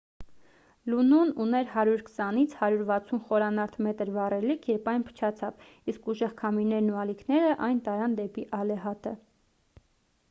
լունոն ուներ 120 - 160 խորանարդ մետր վառելիք երբ այն փչացավ իսկ ուժեղ քամիներն ու ալիքներն այն տարան դեպի ալեհատը